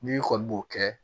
N'i kɔni b'o kɛ